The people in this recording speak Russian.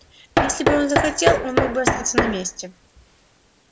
если бы он захотел он мог бы остаться на месте